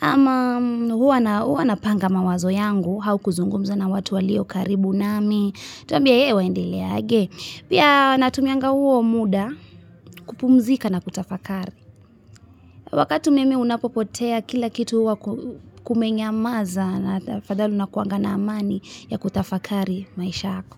ama huwa napanga mawazo yangu hau kuzungumza na watuwalio karibu nami tunbiye ee waende leaje pia natumianga huo muda kupumzika na kutafakari wakati umeme unapopotea kila kitu huwa kumenyamaza na kuna kuwa na amani kutafakari maisha yako.